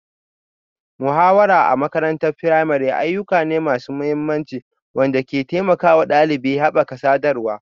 Muhawara a makarantar firamare ayyuka ne masu mahimmanci waɗanda ke taimakawa ɗalibai haɓaka sadarwa,